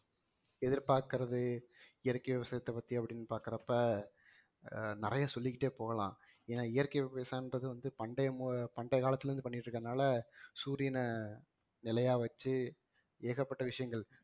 எதிர்பார்க்கிறது இயற்கை விவசாயத்தை பத்தி அப்படின்னு பாக்கறப்ப ஆஹ் நிறைய சொல்லிக்கிட்டே போகலாம் ஏன்னா இயற்கை விவசாயம்ன்றது வந்து பண்டைய மு~ பண்டைய காலத்துல இருந்து பண்ணிட்டு இருக்கிறதுனால சூரியனை நிலையா வச்சு ஏகப்பட்ட விஷயங்கள்